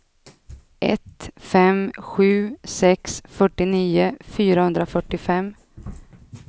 ett fem sju sex fyrtionio fyrahundrafyrtiofem